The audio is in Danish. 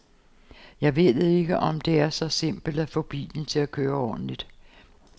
Jeg ved ikke, om det er så simpelt at få bilen til at køre ordentligt.